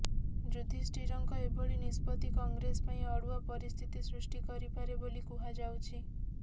ଯୁଧିଷ୍ଠିରଙ୍କ ଏଭଳି ନିଷ୍ପତି କଂଗ୍ରେସ ପାଇଁ ଅଡୁଆ ପରିସ୍ଥିତି ସୃଷ୍ଟି କରିପାରେ ବୋଲି କୁହାଯାଉଛି